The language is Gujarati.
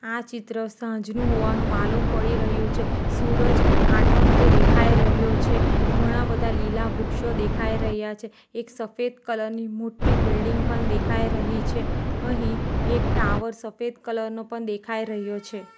આ ચિત્ર સાંજનું હોવાનું માલુમ પડી રહ્યું છે સુરજ આઠમતો દેખાઈ રહ્યો છે ઘણા બધા લીલા વૃક્ષો દેખાઈ રહ્યા છે એક સફેદ કલર ની મોટી બિલ્ડીંગ પણ દેખાઈ રહી છે અહીં એક ટાવર સફેદ કલર નો પણ દેખાઈ રહ્યો છે.